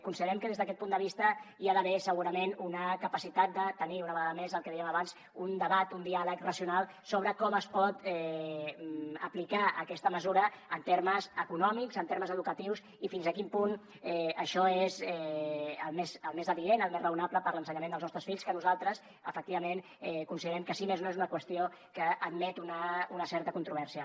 considerem que des d’aquest punt de vista hi ha d’haver segurament una capacitat de tenir una vegada més el que dèiem abans un debat un diàleg racional sobre com es pot aplicar aquesta mesura en termes econòmics en termes educatius i fins a quin punt això és el més adient el més raonable per a l’ensenyament dels nostres fills que nosaltres efectivament considerem que si més no és una qüestió que admet una certa controvèrsia